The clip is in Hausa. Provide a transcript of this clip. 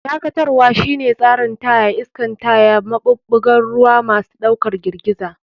Dakatarwa shine tsarin taya, iskan taya, maɓuɓɓugan ruwa, masu ɗaukar girgiza.